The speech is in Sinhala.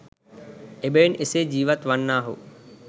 එබැවින් එසේ ජීවත් වන්නාහු